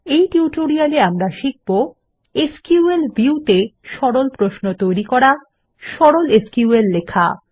এই টিউটোরিয়ালে আমরা শিখব এসকিউএল ভিউ তে সরল প্রশ্ন তৈরি করা সরল এসকিউএল লেখা